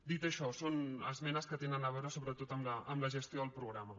dit això són esmenes que tenen a veure sobretot amb la gestió del programa